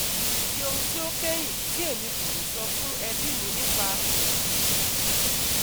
Ati ohun ti o kẹhin ti Emi ko le sọ fun ẹbi mi nipa oshi yii